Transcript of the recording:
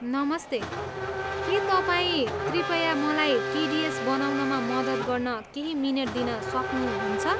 नमस्ते, के तपाईँ कृपया मलाई टिडिएस बनाउनमा मद्दत गर्न केही मिनेट दिन सक्नु सक्नुहुन्छ?